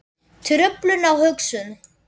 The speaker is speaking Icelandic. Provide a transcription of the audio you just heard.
Truflun á hugsun